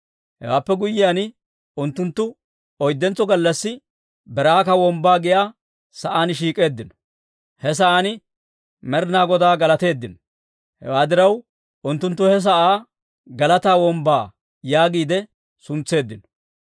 Hewaappe guyyiyaan, unttunttu oyddentso gallassi Beraaka Wombbaa giyaa saan shiik'eeddino; he sa'aan Med'inaa Godaa galateeddino. Hewaa diraw, unttunttu he sa'aa Galataa Wombbaa yaagiide suntseeddino.